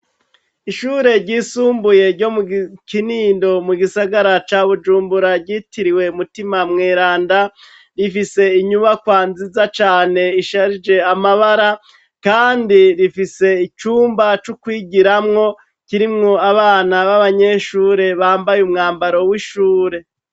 Ishure ryisumbuye ryo mu Kinindo, mu gisagara ca Bujumbura, ryitiriwe Mutima mweranda, rifise inyubakwa nziza cane, isharije amabara, kandi rifise icumba c'ukwigiramwo, kirimwo abana b'abanyeshure, bambaye umwambaro w'ishure.